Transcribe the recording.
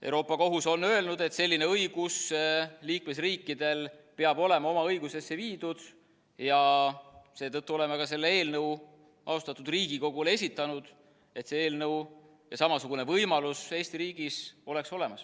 Euroopa Kohus on öelnud, et selline õigus peab olema liikmesriikidel oma õigusesse viidud, ja seetõttu oleme ka selle eelnõu austatud Riigikogule esitanud, et see eelnõu ja samasugune võimalus Eesti riigis olemas oleks.